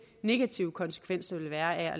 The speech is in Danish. negative konsekvens der vil være af at